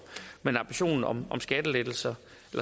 men ambitionen om skattenedsættelser